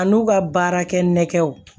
A n'u ka baarakɛ nɛgɛw